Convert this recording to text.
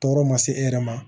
Tɔɔrɔ ma se e yɛrɛ ma